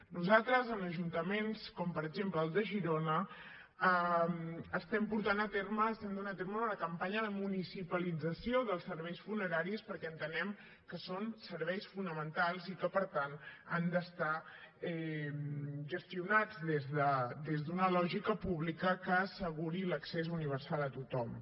nosaltres en ajuntaments com per exemple el de girona estem portant a terme estem duent a terme una campanya de municipalització dels serveis funeraris perquè entenem que són serveis fonamentals i que per tant han d’estar gestionats des d’una lògica pública que asseguri l’accés universal a tothom